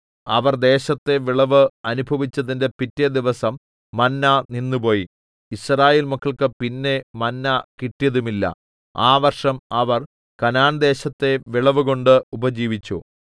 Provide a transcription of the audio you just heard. അവർ ദേശത്തെ വിളവ് അനുഭവിച്ചതിന്റെ പിറ്റെ ദിവസം മന്ന നിന്നുപോയി യിസ്രായേൽ മക്കൾക്ക് പിന്നെ മന്ന കിട്ടിയതുമില്ല ആ വർഷം അവർ കനാൻദേശത്തെ വിളവുകൊണ്ട് ഉപജീവിച്ചു